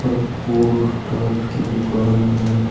Food Ustad की दुकान है।